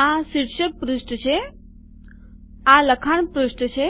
આ શીર્ષક પૃષ્ઠ છે આ લખાણ પૃષ્ઠ છે